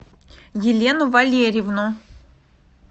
елену валерьевну